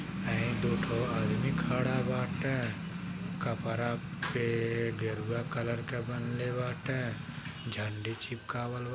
आये दु ठो आदमी खड़ा बाटे कपरा पे गेरुवा कलर के बंधले बाटे झंडी चिपकावल बा।